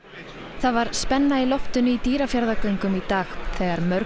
það var spenna í loftinu í Dýrafjarðargöngum í dag þegar mörg